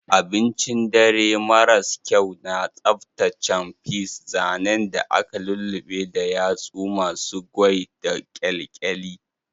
Abincin dare maras kyau na tsaftataccen peas, zanen da aka lulluɓe da yatsu masu goey da kyalkyali.